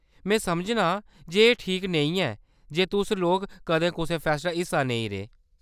में समझनां जे एह्‌‌ ठीक नेईं ऐ जे तुस लोक कदें कुसै फैस्ट दा हिस्सा नेईं रेह्।